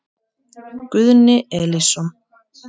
Guðni Elísson.